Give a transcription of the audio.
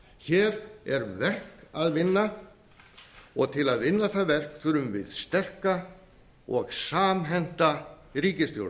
hér er verk að vinna og til að vinna það verk þurfum við sterka og samhenta ríkisstjórn